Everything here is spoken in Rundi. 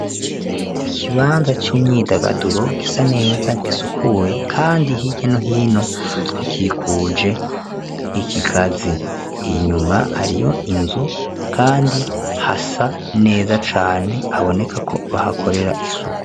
Ikibanza c'imyidagaduro gisa neza gisukuye kandi hirya no hino hakikuje ikigazi inyuma hariyo inzu kandi hasa neza cane habonekako bahakorera isuku.